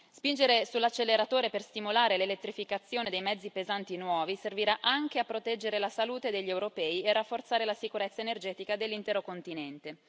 spingere sull'acceleratore per stimolare l'elettrificazione dei mezzi pesanti nuovi servirà anche a proteggere la salute degli europei e a rafforzare la sicurezza energetica dell'intero continente.